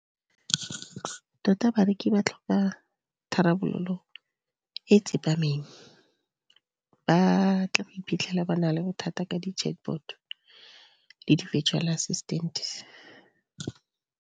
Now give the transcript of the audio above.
Tota bareki ba tlhoka tharabololo e tsepameng, batle go iphitlhela ba na le bothata ka di-chatbot le di-virtual assistant.